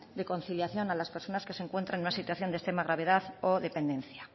de conciliación a las personas que se encuentran en una situación de extrema gravedad o dependencia